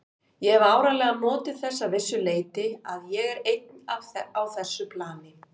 Ég hef áreiðanlega notið þess að vissu leyti að ég er einn á þessu plani.